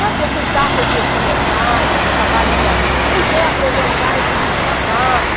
Sabe, de aceitar todos os meus comentários, o trabalho para... Quem quer apresentar esse livro na classe?